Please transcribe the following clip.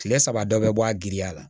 Kile saba dɔ bɛ bɔ a giriya la